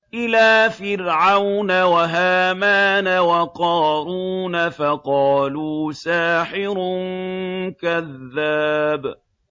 إِلَىٰ فِرْعَوْنَ وَهَامَانَ وَقَارُونَ فَقَالُوا سَاحِرٌ كَذَّابٌ